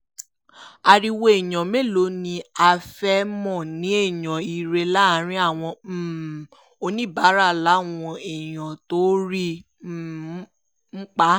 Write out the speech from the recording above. ariwo èèyàn mélòó ni á fẹ́ẹ́ mọ̀ ní èèyàn ire láàrin àwọn um oníbàárà làwọn èèyàn tó rí i um ń pa